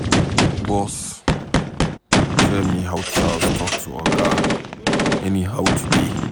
Bose tell me how Charles talk to Oga anyhow today.